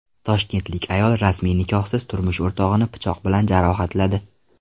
Toshkentlik ayol rasmiy nikohsiz turmush o‘rtog‘ini pichoq bilan jarohatladi.